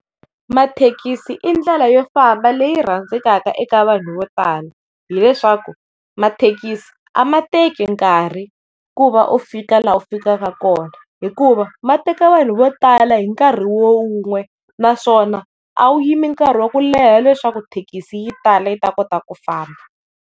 Mathekisi i ndlela yo famba leyi rhandzekaka eka vanhu vo tala hileswaku mathekisi a ma teki nkarhi ku va u fika laha u fikaka kona hikuva mateka vanhu vo tala hi nkarhi wun'we, naswona a wu yimi nkarhi wa ku leha leswaku thekisi yi tala yi ta kota ku famba.